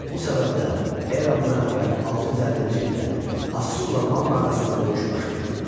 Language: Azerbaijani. Bu səbəbdən eramızdan əvvəl 650-ci ildə Asurla Manna arasında döyüş baş verdi.